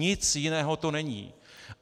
Nic jiného to není.